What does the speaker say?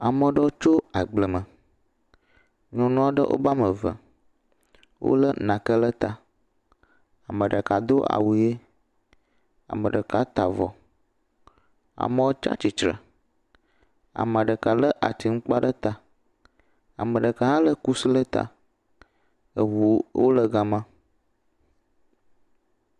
Ame aɖewo tso agble me. Nyɔnu aɖe wobe ame eve. Wolé nake le ta. Ame ɖeka ɖo awu ɣi. Ame ɖeka ta avɔ. Amewo tsia tsitre. Ame ɖeka lé ati atiŋkpa ɖe ta. Ame ɖeka hã lé kusi le ta. Eʋuwo le ga ma.